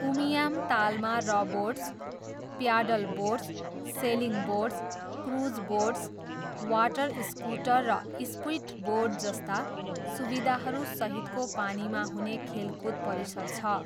उमियाम तालमा rowboats, paddleboats, sailing boats, cruise boats, water scooter र स्पिडबोट्सजस्ता सुविधाहरू सहितको पानीमा हुने खेलकुद परिसर छ।